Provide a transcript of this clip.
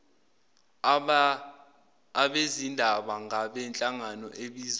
abezindaba ngabenhlangano ebizwa